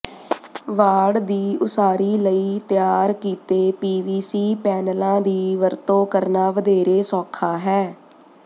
ਵਾੜ ਦੀ ਉਸਾਰੀ ਲਈ ਤਿਆਰ ਕੀਤੇ ਪੀਵੀਸੀ ਪੈਨਲਾਂ ਦੀ ਵਰਤੋਂ ਕਰਨਾ ਵਧੇਰੇ ਸੌਖਾ ਹੈ